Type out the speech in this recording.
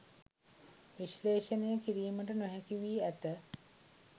විශ්ලේෂණය කිරීමට නොහැකි වී ඇත